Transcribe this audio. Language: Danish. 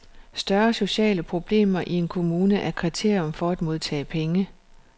Større sociale problemer i en kommune er kriterium for at modtage penge.